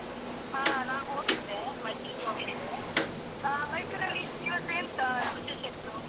ಹಾ ನಾ ಹೋಗಿದ್ದೆ ಮಡಿಕೇರಿಗೋಗಿದ್ದೆ. ಹಾ ಮೈಸೂರಲ್ಲಿ ಇವತ್ತು ಎಂತ ವಿಶೇಷ ಇತ್ತು?